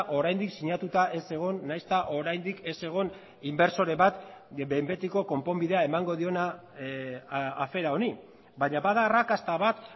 oraindik sinatuta ez egon nahiz eta oraindik ez egon inbertsore bat behin betiko konponbidea emango diona afera honi baina bada arrakasta bat